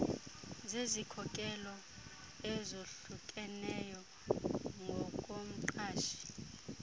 zezikhokelo ezohlukeneyo ngokomqashi